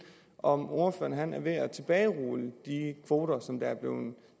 ordføreren er ved at tilbagerulle de kvoter som er blevet